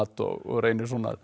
og reyni